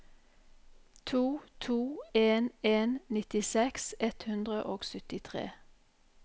to to en en nittiseks ett hundre og syttitre